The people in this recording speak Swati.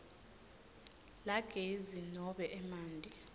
lagezi nobe emanti